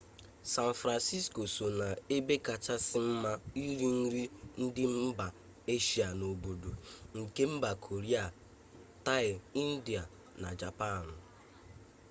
san fransisko so n'ebe kachasị mma iri nri ndị mba eshia n'obodo nke mba koria taị india na japaanụ